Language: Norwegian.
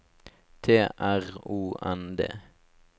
T R O N D